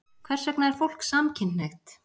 Hvers vegna er fólk samkynhneigt?